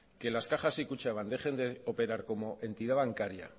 que las cajas y kutxabank dejen de operar como entidad bancaria